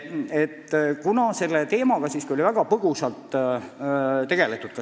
Selle teemaga oli komisjonis siiski vaid väga põgusalt tegeletud.